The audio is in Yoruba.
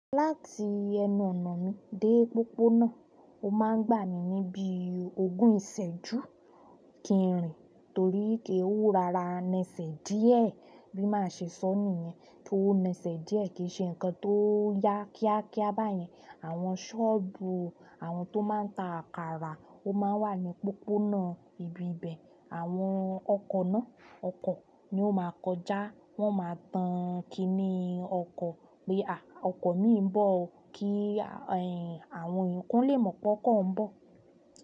Láti ẹnu ọ̀nà mi dé pópónà, ó máa ń gbà mí ní bíi ogún ìsẹ́jú kí n rìn torí pé ó rọra, nẹsẹ̀ díẹ̀ bí màá ṣe sọ́ nìyẹn, pó nẹsẹ̀ díẹ̀ kìí ṣe nǹkan tó yá kíákíá báyẹn. Àwọn ṣọ́ọ̀bù, àwọn tó máa ń ta àkàrà ó máa ń wà ní pópónà ibi ibẹ̀. Àwọn ọkọ̀ náà, ọkọ̀ ni ó ma a kọjá, wọn ó ma a tan kiní ọkọ̀ pé à, ọkọ̀ míì ń bọ̀ o, kí àwọn èèyàn, kán lè mọ̀ pọ́kọ̀ ń bọ̀.